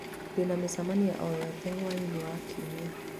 Ndĩ na mĩcemanio o yothe hwaĩ-inĩ wa Kiumia